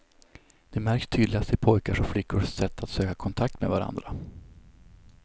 Det märks tydligast i pojkars och flickors sätt att söka kontakt med varandra.